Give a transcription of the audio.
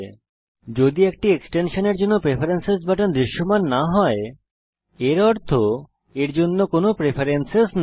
যদি একটি এক্সটেনশানের জন্য প্রেফারেন্স বাটন দৃশ্যমান না হয় এর অর্থ এর জন্য কোনো প্রেফেরেন্সেস নেই